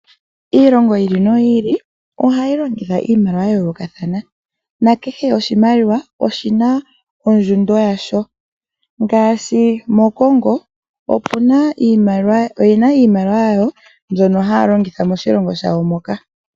Iilongo yi ili no yi ili ohayi longitha iimaliwa ya yoolokathana na kehe oshimaliwa oshi na ondjundo yasho. Ngaashi moCongo oye na iimaliwa yawo mbyono haya longitha moshilongo shawo moka.